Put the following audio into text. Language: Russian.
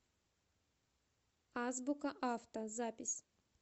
азбука авто запись